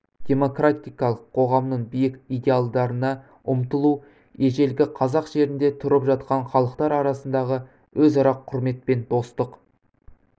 демократиялық қоғамның биік идеалдарына ұмтылу ежелгі қазақ жерінде тұрып жатқан халықтар арасындағы өзара құрмет пен достық